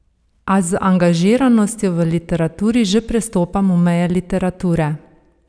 A z angažiranostjo v literaturi že prestopamo meje literature?